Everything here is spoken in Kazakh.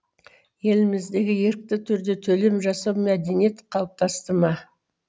елімізде ерікті түрде төлем жасау мәдениеті қалыптасты ма